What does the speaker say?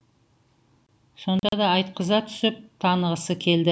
сонда да айтқыза түсіп танығысы келді